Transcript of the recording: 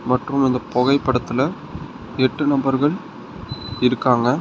மற்றும் இந்த புகைப்படத்துல எட்டு நபர்கள் இருக்காங்க.